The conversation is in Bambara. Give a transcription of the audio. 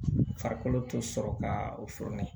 Farikolo te sɔrɔ kaa o